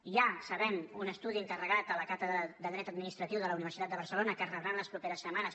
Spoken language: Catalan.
hi ha ho sabem un estudi encarre·gat a la càtedra de dret administratiu de la universitat de barcelona que es rebrà en les properes setmanes